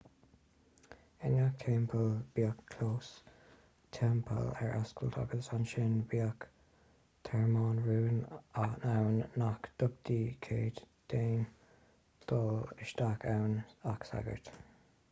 i ngach teampall bhíodh clós teampaill ar oscailt agus ansin bhíodh tearmann rúin ann nach dtugtaí cead d'aon duine dul isteach ann ach sagairt